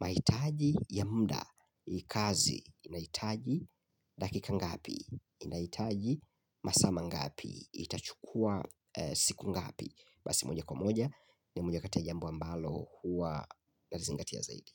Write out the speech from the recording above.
mahitaji ya muda. Hii kazi inahitaji dakika ngapi? Inahitaji masaa mangapi itachukua siku ngapi. Basi moja kwa moja ni moja kati ya jambo ambalo huwa nazingatia izaidi.